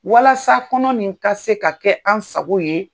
Walasa kɔnɔ nin ka se ka kɛ an sago ye.